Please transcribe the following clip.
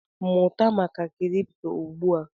Mụta maka kripto ugbu a!